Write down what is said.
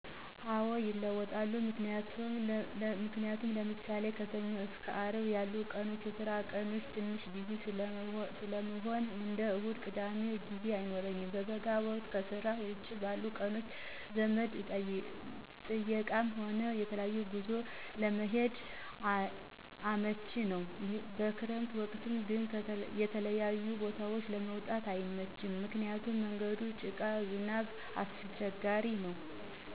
አዎ ይለወጣል። ምክንያቱም ለምሳሌ ከሰኞ እስከ አርብ የሉ ቀናቶች የስራ ቀኖቸ ትንሽ ቢዚ ሰለምሆን እንደ እሁድና ቅዳሜ ጊዜ አይኖረኝም። በበጋ ወቅት ከስራ ውጭ ባሉ ቀናቶች ዘመድ ጥየቃም ሆነ የተለያዩ ጉዞዎች ለመሄድ አመችነው። በከረምት ወቅት ግን የተለያዩ ቦታዎች ለመውጣት አይመችም ምክንያቱም መንገዱ ጭቃው ዝናቡ አሰቸጋሪነው።